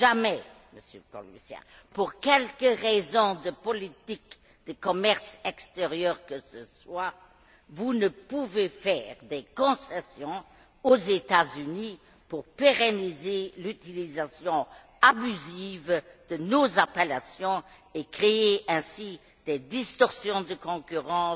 En aucun cas, Monsieur le Commissaire, pour quelque raison de politique de commerce extérieur que ce soit, vous ne pouvez faire de concessions aux États Unis pour pérenniser l'utilisation abusive de nos appellations et créer ainsi des distorsions de concurrence